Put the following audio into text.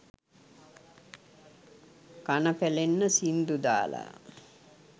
කන පැලෙන්න සිංදු දාලා